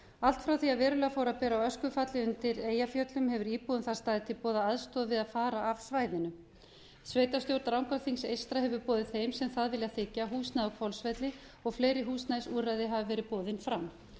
allt frá því að verulega fór að bera á öskufalli undir eyjafjöllum hefur íbúum þar staðið til boða aðstoð við að fara af svæðinu sveitarstjórn rangárþings eystra hefur boðið þeim sem það vilja þiggja húsnæði á hvolsvelli og fleiri húsnæðisúrræði hafa verið boðin fram